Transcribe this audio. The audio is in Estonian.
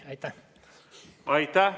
Aitäh!